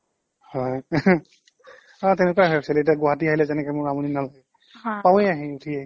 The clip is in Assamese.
হয় অ' তেনেকুৱাই হয় actually এতিয়া গুৱাহাটী আহিলে যেনেকে মোৰ আমনি নালাগে পাওঁৱেই আহি উঠিয়েই